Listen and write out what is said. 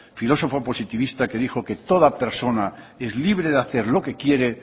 filosofo positivista que dijo que toda persona es libre de hacer lo que quiere